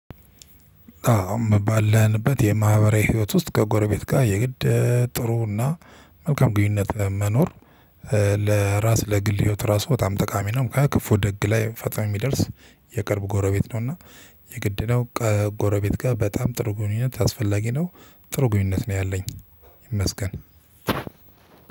አዎ ባለንበት የማህበራዊ ህይወት ውስጥ ከጎረቤት ጋር የግድ ጥሩና መልካም ግንኙነት መኖር ለራስ ለግል ህይወት ራሱ በጣም ጠቃሚ ነው። ምክንያቱም ክፉ ደግ ላይ ፈጥኖ የሚደርስ የቅርብ ጎረቤት ነውና። የግድ ነው። ጎረቤት ጋር በጣም ጥሩ ግንኙነት አስፈላጊ ነው። ጥሩ ግንኙነት ነው ያለኝ ይመስገን።